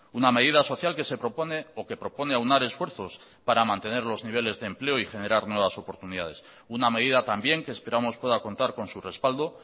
una medida social que se propone o que propone aunar esfuerzos para mantener los niveles de empleo y generar nuevas oportunidades una medida también que esperamos pueda contar con su respaldo